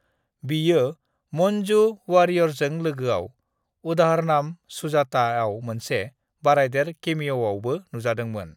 """बियो मंजू वारियरजों लोगोआव """"उदाहारनम सुजाता"""" आव मोनसे बारायदेर केमिअआवबो नुजादोंमोन।"""